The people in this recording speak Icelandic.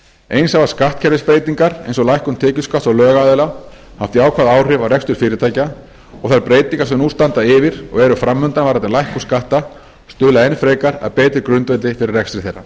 eins hafa skattkerfisbreytingar eins og lækkun tekjuskatts á lögaðila haft jákvæð áhrif á rekstur fyrirtækja og þær breytingar sem nú standa yfir og eru fram undan varðandi lækkun skatta stuðla enn frekar að betri grundvelli fyrir rekstri þeirra